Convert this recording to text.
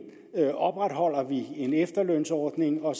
opretholder en efterlønsordning og at